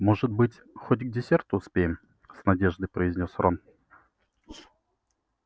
может быть хоть к десерту успеем с надеждой произнёс рон